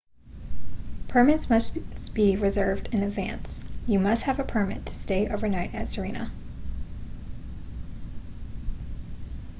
permits must be reserved in advance you must have a permit to stay overnight at sirena